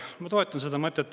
Ma toetan seda mõtet.